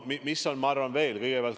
Mis veel?